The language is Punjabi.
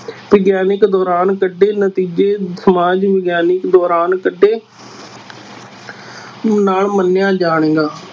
ਵਿਗਿਆਨਕ ਦੌਰਾਨ ਕੱਢੇ ਨਤੀਜੇ ਸਮਾਜ ਵਿਗਿਆਨਕ ਦੌਰਾਨ ਕੱਢੇ ਨਾ ਮੰਨਿਆ ਜਾਣ।